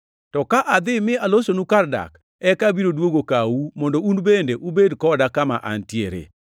To ka adhi mi alosonu kar dak, eka abiro duogo kawou mondo un bende ubed koda kama antiere.